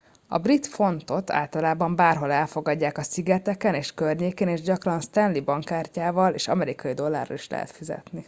a brit fontot általában bárhol elfogadják a szigeteken és környékén és gyakran stanley bankkártyával és amerikai dollárral is lehet fizetni